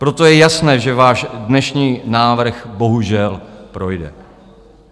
Proto je jasné, že váš dnešní návrh bohužel projde.